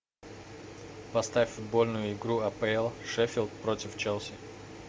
поставь футбольную игру апл шеффилд против челси